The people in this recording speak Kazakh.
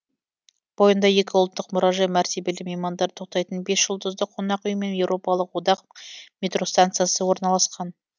бойында екі ұлттық мұражай мәртебелі меймандар тоқтайтын бес жұлдызды қонақ үй мен еуропалық одақ метростанциясы орналасқан